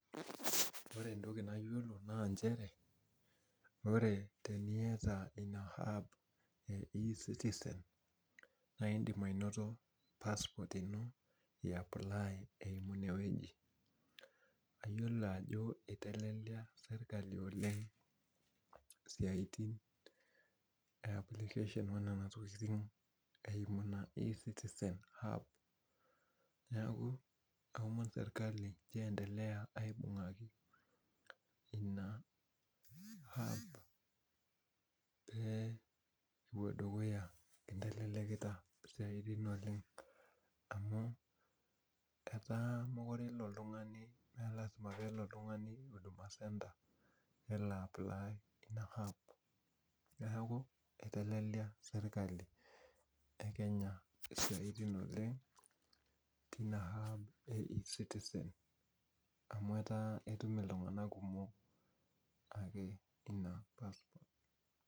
Ore entoki nayiolo na njere, ore teniata ina app e e-citizen, na idim anoto passport ino i apply inowoji. Ayiolo ajo itelelia sirkali oleng siaitin e application, nena tokiting eimu ina e-citizen app, neeku aomon serkali nchoo endelea aibung'aki ina app epuo dukuya amu itelelekita isiaitin oleng amu etaa mekure ilo oltung'ani me lasima pelo oltung'ani huduma centre, nelo apply ina app. Neeku itelelia sirkali e Kenya isiaitin oleng, tina app e e-citizen, amu etaa etum iltung'anak kumok ake ina pas.